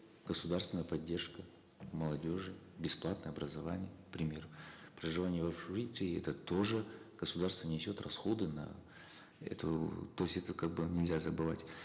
государственная поддержка молодежи бесплатное образование к примеру проживание в общежитии это тоже государство несет расходы на эту то есть это как бы нельзя забывать